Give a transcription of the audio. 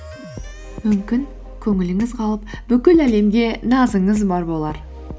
мүмкін көңіліңіз қалып бүкіл әлемге назыңыз бар болар